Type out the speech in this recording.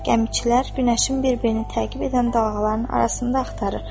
Gəmiçilər günəşin bir-birini təqib edən dalğaların arasında axtarır.